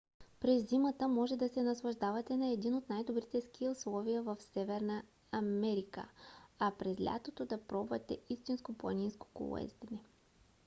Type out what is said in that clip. през зимата можете да се наслаждавате на едни от най-добрите ски условия в северна америка а през лятото да пробвате истинско планинско колоездене